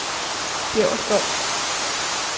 Bjæverskov